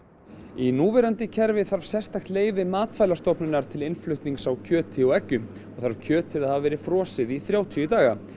í núverandi kerfi þarf sérstakt leyfi Matvælastofnunar til innflutnings á kjöti og eggjum og þarf kjötið að hafa verið frosið í þrjátíu daga